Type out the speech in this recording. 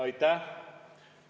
Aitäh!